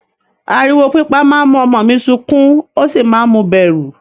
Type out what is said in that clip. Ariwo pípa máa ń mú ọmọ mi sukún ó sì máa ń mu bẹ̀rù.